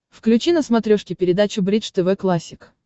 включи на смотрешке передачу бридж тв классик